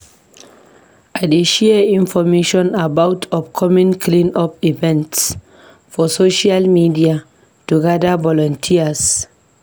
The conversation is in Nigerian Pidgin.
I dey share information about upcoming clean-up events for social media to gather volunteers.